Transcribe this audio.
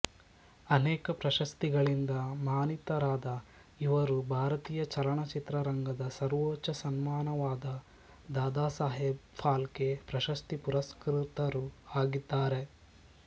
ಅನೇಕ ಪ್ರಶಸ್ತಿಗಳಿಂದ ಮಾನಿತರಾದ ಇವರು ಭಾರತೀಯ ಚಲನಚಿತ್ರ ರಂಗದ ಸರ್ವೋಚ್ಚ ಸನ್ಮಾನವಾದ ದಾದಾಸಾಹೇಬ್ ಫಾಲ್ಕೆ ಪ್ರಶಸ್ತಿ ಪುರಸ್ಕೃತರೂ ಆಗಿದ್ದಾರೆ